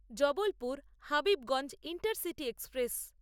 Jabalpur Habibganj intercity express